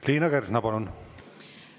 Liina Kersna, palun!